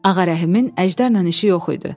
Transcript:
Ağarəhimin əjdərlə işi yox idi.